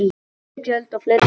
Hærri gjöld og fleiri borga